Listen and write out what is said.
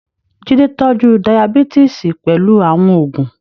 Jide tọ́jú Dayabítìsì pẹ̀lú àwọn oògùn.